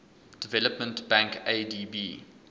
development bank adb